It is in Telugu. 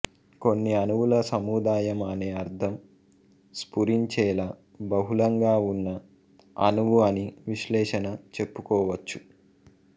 కొన్ని అణువుల సముదాయం అనే అర్థం స్పురించేలా బహుళంగా ఉన్న అణువు అని విశ్లేషణ చెప్పుకో వచ్చు